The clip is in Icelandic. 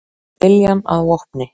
Með viljann að vopni